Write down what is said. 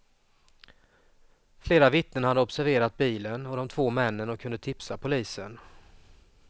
Flera vittnen hade observerat bilen och de två männen och kunde tipsa polisen.